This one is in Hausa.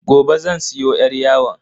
Gobe zan siyo yar yawon.